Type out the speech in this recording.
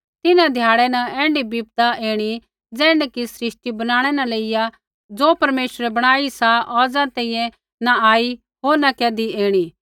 तिन्हां ध्याड़ै न ऐण्ढी विपदा ऐणी ज़ैण्ढी कि सृष्टि बणनै न लेइया ज़ो परमेश्वरै बणाई सा औज़ा तैंईंयैं न आई होर न कैधी ऐणी